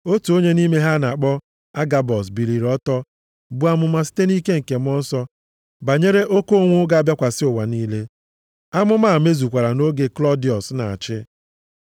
Otu onye nʼime ha a na-akpọ Agabọs biliri ọtọ buo amụma site nʼike Mmụọ Nsọ banyere oke ụnwụ ga-abịakwasị ụwa niile. Amụma a mezukwara nʼoge Klọdiọs na-achị.